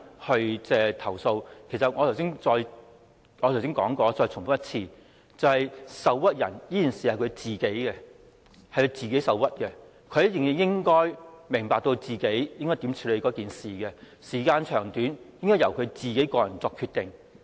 我剛才已說過，我再重申一次，受屈是當事人自己的事情，她自己應該明白該如何處理此事，時間長短應該由她個人作出決定。